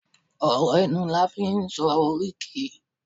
ọrọ ẹnu la fi n sọ oríkì